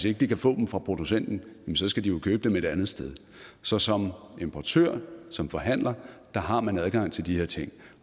ikke kan få dem fra producenten skal de jo købe ind et andet sted så som importør og som forhandler har man adgang til de her ting